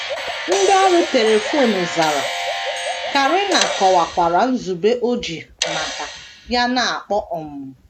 ndi ọrụ telifon zara, Karina kọwakwara nzube o ji maka ya na - akpọ. um